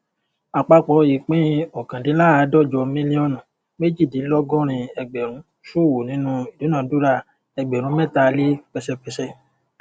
àpapọ ìpín ọkàndínláàdọjọ mílíọnù méjìdínlógórin ẹgbèrún ṣòwò nínú ìdunádúrà ẹgbèrún mẹta lé pẹṣépẹṣé